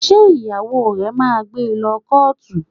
Ṣé ìyàwó rẹ̀ máa gbé lọ kọ́ọ̀tù?